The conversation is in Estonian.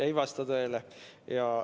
Ei vasta tõele.